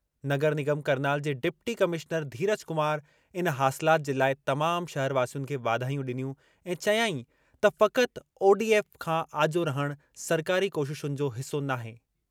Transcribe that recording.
नगर निगम करनाल जे deputy commissioner Dheeraj Kumar इन हासिलाति जे लाइ तमाम शहरवासियुनि खे वाधायूं ॾिनियूं ऐं चयाईं त फ़क़ति ओडीएफ़ खां आजो रहणु सरकारी कोशिशुनि जो हिसो नाहे।